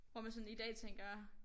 Hvor man sådan i dag tænker